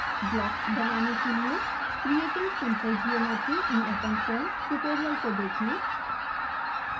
blocks बनाने के लिए creating simple geometry in openfoam tutorial को देखें